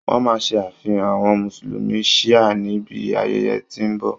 Wọ́n máa ṣe àfihàn àwọn mùsùlùmí shìá níbi ayẹyẹ tí ó ń bọ̀.